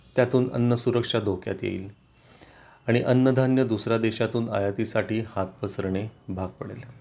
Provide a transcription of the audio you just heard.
त्यातून अन्न सुरक्षा धोक्यात येईल आणि अन्नधान्य दुसरा देशातून आयातीसाठी हात पसरणे भाग पडेल